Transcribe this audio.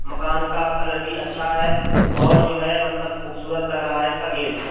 मकान का कलर भी अच्छा है और जो है मतलब खूबसूरत लग रहा है इसका गेट ।